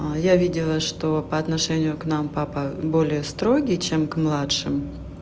а я видела что по отношению к нам папа более строгий чем к младшим